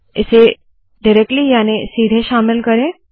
इसे डिरेक्ट्ली याने सीधे शामिल करे